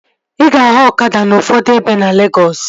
Ị ga-ahụ ọkada n'ufodu ebe na Legọs